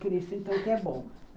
Por isso então que é bom